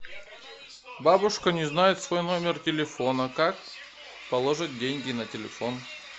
бабушка не знает свой номер телефона как положить деньги на телефон